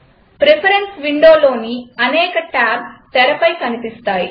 preference Windowలోని అనేక tabs తెరపై కనిపిస్తాయి